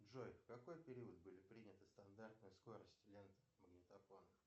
джой в какой период были приняты стандартные скорости ленты магнитофона